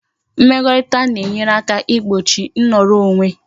Mmekorita na e nyere aka igbochi nnoro onwe